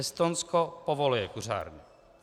Estonsko povoluje kuřárny.